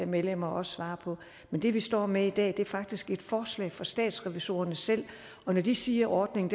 medlemmer også svare på men det vi står med i dag er faktisk et forslag fra statsrevisorerne selv og når de siger ordningen